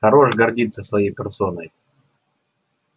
хорош гордиться своей персоной